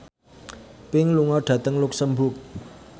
Pink lunga dhateng luxemburg